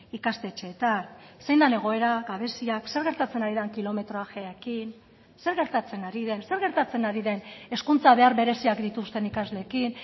ikastetxeetan zein den egoera gabeziak zer gertatzen ari den kilometrajeekin zer gertatzen ari den zer gertatzen ari den hezkuntza behar bereziak dituzten ikasleekin